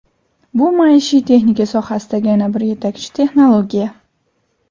Bu maishiy texnika sohasidagi yana bir yetakchi texnologiya.